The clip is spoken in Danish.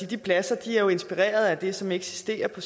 de pladser er jo inspireret af det som eksisterer på